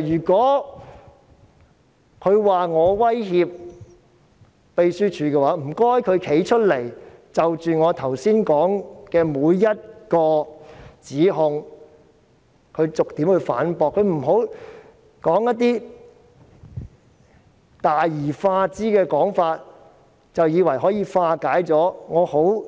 如果他指我威脅秘書處，請他站出來逐一反駁我剛才提出的指控，不要用一些大而化之的說法，便以為可以化解我